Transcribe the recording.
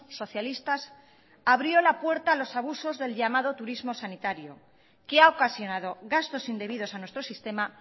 socialistas abrió la puerta a los abusos del llamado turismo sanitario que ha ocasionado gastos indebidos a nuestro sistema